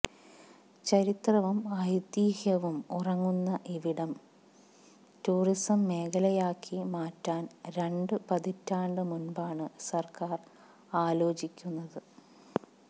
ചരിത്രവും ഐതീഹ്യവും ഉറങ്ങുന്ന ഇവിടം ടൂറിസ്സം മേഖലയാക്കി മാറ്റാന് രണ്ട് പതിറ്റാണ്ട് മുന്പാണ് സര്ക്കാര് ആലോചിച്ചിക്കുന്നത്